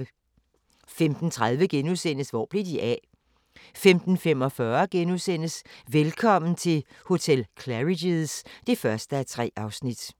15:30: Hvor blev de af? * 15:45: Velkommen til hotel Claridge's (1:3)*